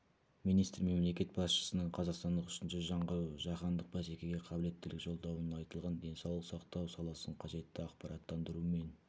министр мемлекет басшысының қазақстанның үшінші жаңғыруы жаһандық бәсекеге қабілеттілік жолдауында айтылған денсаулық сақтау саласын қажетті ақпараттандырумен